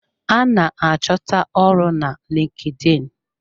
A ná achọta ọrụ na LinkedIn.